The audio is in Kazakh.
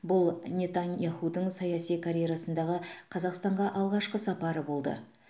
бұл нетаньяхудың саяси карьерасындағы қазақстанға алғашқы сапары болды